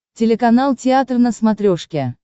телеканал театр на смотрешке